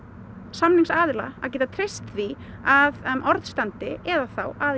samningsaðila að geta treyst því að orð standi eða þá